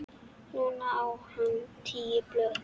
Núna á hann tíu blöð.